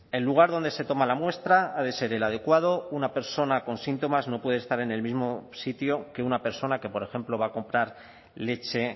el lugar donde se toma la muestra ha de ser el adecuado una persona con síntomas no puede estar en el mismo sitio que una persona que por ejemplo va a comprar leche